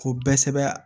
K'o bɛɛ sɛbɛn